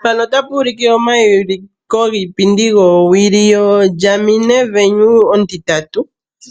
Mpano ota pu monika omauliko giipindi gowili yoGarmin Venu 3.